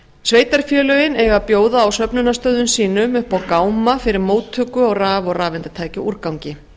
sveitarfélögin eiga að bjóða á söfnunarstöðvum sínum upp á gáma fyrir móttöku á raf og rafeindatækjaúrgangi